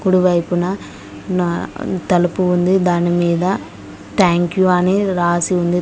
కుడి వైపున తలుపు ఉంది దాని మీద థాంక్ యు అని రాసి ఉంది.